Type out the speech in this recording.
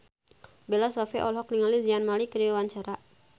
Bella Shofie olohok ningali Zayn Malik keur diwawancara